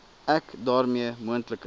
ek daarmee moontlike